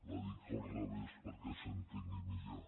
la dic al revés perquè s’entengui millor